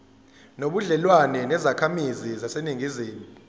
nobudlelwane nezakhamizi zaseningizimu